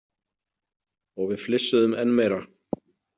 Og við flissuðum enn meira.